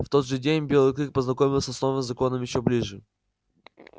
в тот же день белый клык познакомился с новым законом ещё ближе